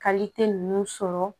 ninnu sɔrɔ